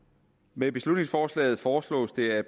med beslutningsforslaget foreslås det at